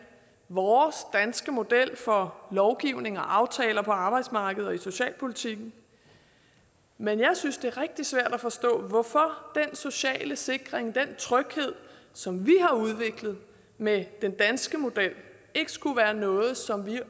vores danske model for lovgivning og aftaler på arbejdsmarkedet og i socialpolitikken men jeg synes det er rigtig svært at forstå hvorfor den sociale sikring den tryghed som vi har udviklet med den danske model ikke skulle være noget som vi